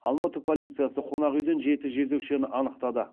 алматы полициясы қонақүйден жеті жезөкшені анықтады